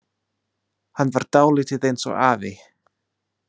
Hann var dálítið eins og afi.